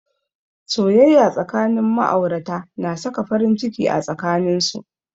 Soyayya tsakanin ma'aurata na saka farin ciki a tsakanin su.